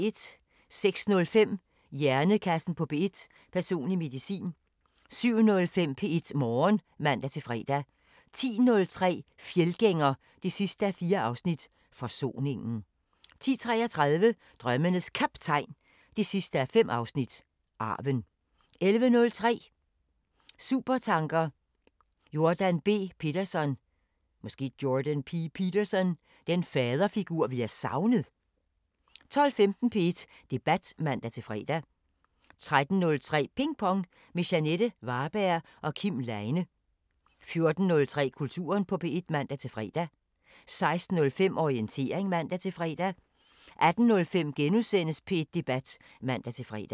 06:05: Hjernekassen på P1: Personlig medicin 07:05: P1 Morgen (man-fre) 10:03: Fjeldgænger 4:4 – Forsoningen 10:33: Drømmenes Kaptajn 5:5 – Arven 11:03: Supertanker: Jordan B. Peterson – den faderfigur, vi har savnet? 12:15: P1 Debat (man-fre) 13:03: Ping Pong – med Jeanette Varberg og Kim Leine 14:03: Kulturen på P1 (man-fre) 16:05: Orientering (man-fre) 18:05: P1 Debat *(man-fre)